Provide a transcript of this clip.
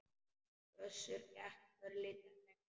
Össur gekk örlítið lengra.